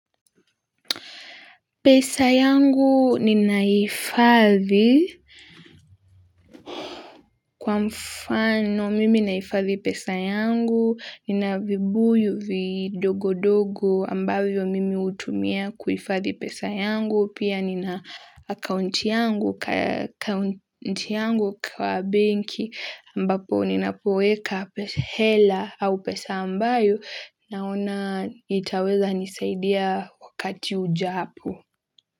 Pesa yangu ninaifadhi kwa mfano mimi naifadhi pesa yangu, nina vibuyu vidogo dogo ambavyo mimi utumia kuifadhi pesa yangu, pia nina akaunti yangu kwa banki ambapo ninapoweka pesa hela au pesa ambayo naona itaweza nisaidia wakati ujaapo.